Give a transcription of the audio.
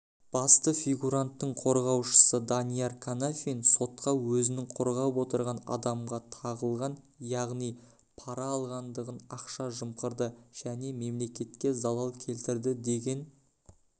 басты фигуранттың қорғаушысы данияр қанафин сотқа өзінің қорғап отырған адамға тағылған яғни пара алғандығын ақша жымқырды және мемлекетке залал келтірді деген